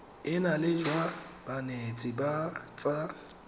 enale jwa banetshi ba tsa